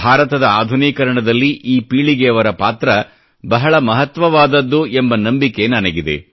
ಭಾರತದ ಆಧುನೀಕರಣದಲ್ಲಿ ಈ ಪೀಳಿಗೆಯವರ ಪಾತ್ರ ಬಹಳ ಮಹತ್ವವಾದದ್ದು ಎಂಬ ನಂಬಿಕೆ ನನಗಿದೆ